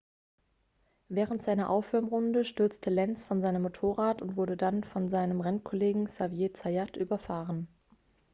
während seiner aufwärmrunde stürzte lenz von seinem motorrad und wurde dann von seinem rennkollegen xavier zayat überfahren